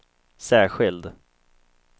särskild